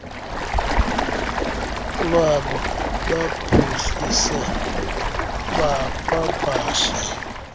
lwabo baphuhlise bapapashe